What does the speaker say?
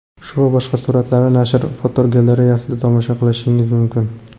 Shu va boshqa suratlarni nashr fotogalereyasida tomosha qilishingiz mumkin.